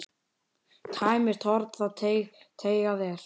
Tæmist horn þá teygað er.